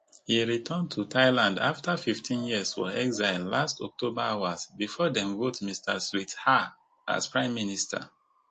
e return to thailand afta fifteen years for exile last october hours bifor dem vote mr srettha as prime minister